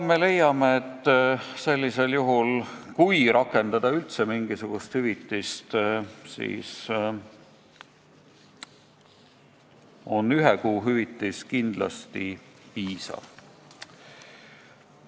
Me leiame, et sellisel juhul, kui üldse maksta mingisugust hüvitist, siis on ühe kuu ametipalk kindlasti piisav.